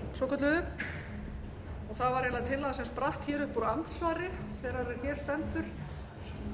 og það var eiginlega tillaga sem spratt upp úr andsvari þeirrar er hér stendur